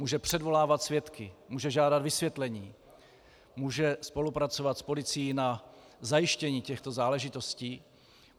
Může předvolávat svědky, může žádat vysvětlení, může spolupracovat s policií na zajištění těchto záležitostí.